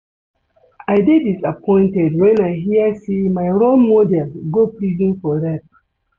I dey disappointed wen I hear say my role model go prison for rape